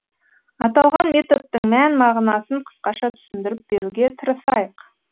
аталған методтың мән мағынасын қысқаша түсіндіріп беруге тырысайық